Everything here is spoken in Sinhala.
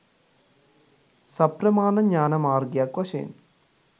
සප්‍රමාණ ඥාන මාර්ගයක් වශයෙන්